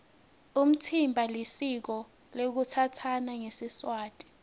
umtsimba lisiko lekutsatsana ngesiswati